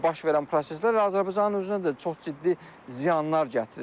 Baş verən proseslər Azərbaycanın özünə də çox ciddi ziyanlar gətirir.